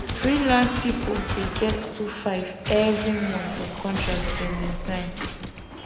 freelance people dey get 2500 every month from contract them bin sign